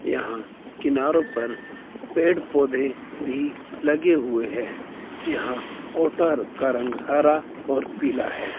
यहां किनारों पर पेड़ पौधे भी लगे हुए है यहां का रंग हरा और पीला है।